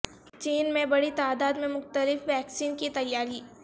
چین میں بڑی تعداد میں مختلف ویکسین کی تیاری